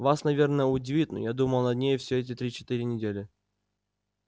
вас наверное удивит но я думал над ней все эти три-четыре недели